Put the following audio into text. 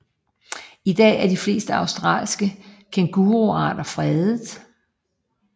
I dag er de fleste australske kænguruarter fredet